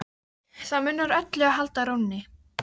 Það munar öllu að halda rónni.